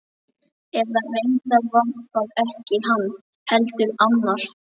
Eða reyndar var það ekki hann, heldur annar.